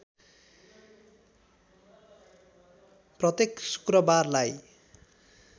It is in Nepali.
प्रत्येक शुक्रवारलाई